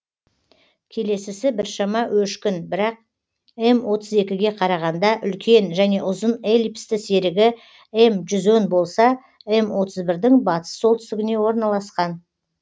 келесісі біршама өшкін бірақ м отыз екіге қарағанда үлкен және ұзын эллипсті серігі м жүз он болса м отыз бірдің батыс солтүстігіне орналасқан